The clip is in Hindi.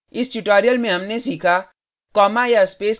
इस tutorial में हमने सीखा